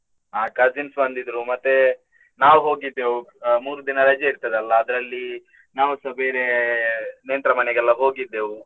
ಅಹ್ cousins ಬಂದಿದ್ರು ಮತ್ತೆ. ನಾವ್ ಹೋಗಿದ್ದೆವು ಮೂರು ದಿನ ರಜೆ ಇರ್ತದಲ್ಲ ಅದ್ರಲ್ಲಿ ನಾವುಸ ಬೇರೆ ನೆಂಟ್ರ ಮನೆಗೆಲ್ಲಾ ಹೋಗಿದ್ದೆವು.